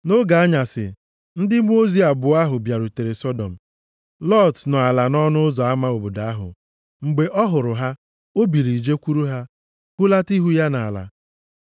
Nʼoge anyasị, ndị mmụọ ozi abụọ ahụ bịarutere Sọdọm. Lọt nọ ala nʼọnụ ụzọ ama obodo ahụ. Mgbe ọ hụrụ ha, o biliri jekwuru ha, hulata ihu ya nʼala.